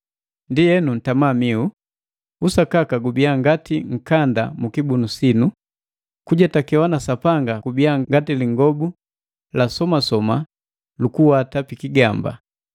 Ndienu, ntama mihu. Usakaka gubiya ngati nkanda mukibunu sinu, kujetakewa na Sapanga kubiya ngati lingobu la somasoma lukuenga pikigamba,